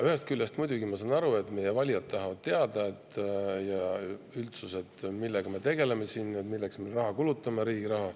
Ühest küljest ma muidugi saan aru, et meie valijad ja üldsus tahavad teada, millega me siin tegeleme, milleks me riigi raha kulutame.